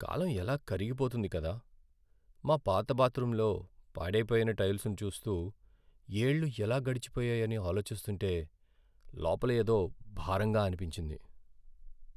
కాలం ఎలా కరిగిపోతుంది కదా. మా పాత బాత్రూంలో పాడైపోయిన టైల్స్ను చూస్తూ, ఏళ్లు ఎలా గడిచిపోయాయని ఆలోచిస్తుంటే.. లోపల ఏదో భారంగా అనిపించింది.